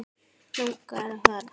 Langar að fara.